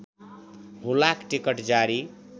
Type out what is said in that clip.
हुलाक टिकट जारी